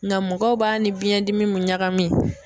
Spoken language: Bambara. Nga mɔgɔw b'a ni biɲɛndimi ɲagami.